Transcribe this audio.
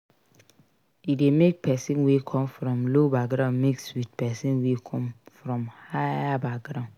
E de make person wey come from low background mix with persin wey come from higher background